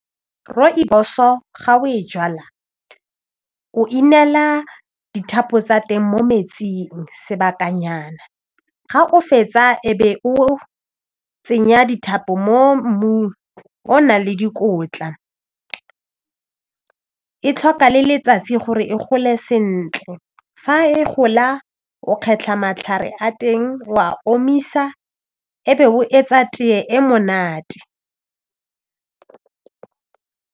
Rooibos-o ga o e jala o inela dithapo tsa teng mo metsing sebakanyana ga o fetsa e be o tsenya dithapo mo mmung o o nang le dikotla e tlhoka le letsatsi gore e gole sentle fa e gola o kgetlha matlhare a teng o a omisa e be o etsa tee e monate.